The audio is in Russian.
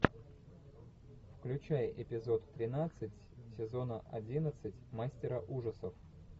включай эпизод тринадцать сезона одиннадцать мастера ужасов